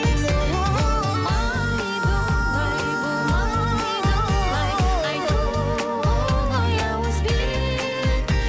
болмайды олай болмайды олай айтуға оңай ауызбен